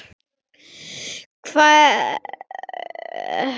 Hver sagði það?